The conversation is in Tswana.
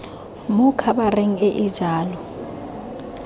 mo khabareng e e jalo